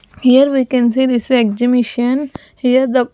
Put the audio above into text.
Here we can see this exemition here the --